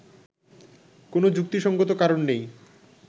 কোন যুক্তিসঙ্গত কারণ নেই